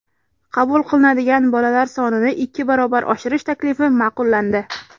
qabul qilinadigan bolalar sonini ikki barobar oshirish taklifi ma’qullandi.